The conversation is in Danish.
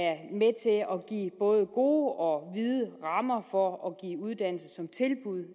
give både gode og vide rammer for at give uddannelse som tilbud